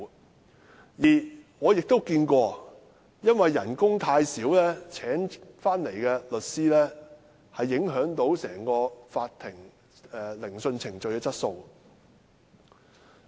我亦遇過一些情況，因為工資太低，受聘的律師影響了整個法庭聆訊程序的質素。